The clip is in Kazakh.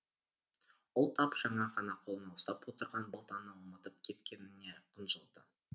ол тап жаңа ғана қолына ұстап отырған балтаны ұмытып кеткеніне қынжылды